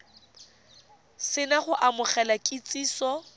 se na go amogela kitsiso